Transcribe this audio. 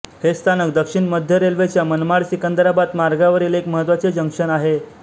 हे स्थानक दक्षिण मध्य रेल्वेच्या मनमाडसिकंदराबाद मार्गावरील एक महत्त्वाचे जंक्शन आहे